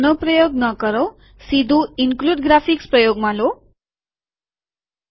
તો આનો પ્રયોગ ન કરો સીધું ઈનક્લુડ ગ્રાફિક્સ સમાવિષ્ટ ચિત્રકામો પ્રયોગમાં લો